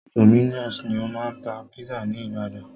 Dominos ni o máa ń tá pizza ní ìbàdàn.